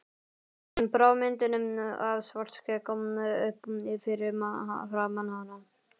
Hann brá myndinni af Svartskegg upp fyrir framan hana.